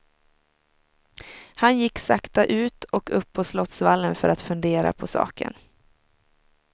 Han gick sakta ut och upp på slottsvallen för att fundera på saken.